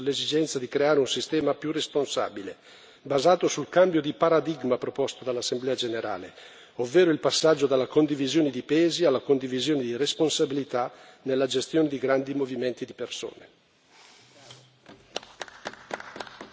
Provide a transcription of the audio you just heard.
Io mi auguro che i leader mondiali siano consapevoli dell'esigenza di creare un sistema più responsabile, basato sul cambio di paradigma proposto dall'Assemblea generale, ovvero il passaggio dalla condivisione di pesi alla condivisione di responsabilità nella gestione di grandi movimenti di persone.